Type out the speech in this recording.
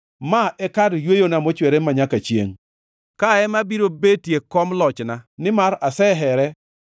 Ma e kar yweyona mochwere manyaka chiengʼ, kae ema abiro betie kom lochna, nimar asehere,